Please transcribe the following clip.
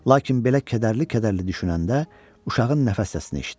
Lakin belə kədərli-kədərli düşünəndə uşağın nəfəs səsini eşitdi.